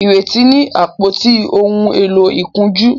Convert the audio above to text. Ireti ní àpótí òún èló ìkunjú